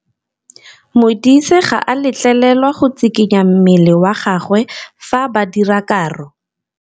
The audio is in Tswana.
Modise ga a letlelelwa go tshikinya mmele wa gagwe fa ba dira karô.